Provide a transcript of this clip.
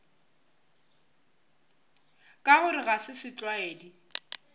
ka gore ga se setlwaedi